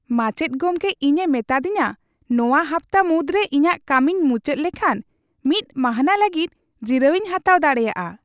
ᱢᱟᱪᱮᱫ ᱜᱚᱢᱠᱮ ᱤᱧᱮ ᱢᱮᱛᱟᱫᱤᱧᱟ ᱱᱚᱣᱟ ᱦᱟᱯᱛᱟ ᱢᱩᱫᱨᱮ ᱤᱧᱟᱜ ᱠᱟᱹᱢᱤᱧ ᱢᱩᱪᱟᱹᱫ ᱞᱮᱠᱷᱟᱱ ᱢᱤᱫ ᱢᱟᱹᱱᱦᱟᱹ ᱞᱟᱹᱜᱤᱫ ᱡᱤᱨᱟᱹᱣᱤᱧ ᱦᱟᱛᱟᱣ ᱫᱟᱲᱮᱭᱟᱜᱼᱟ ᱾